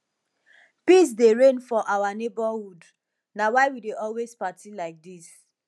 peace dey reign for our neighborhood na why we dey always party like dis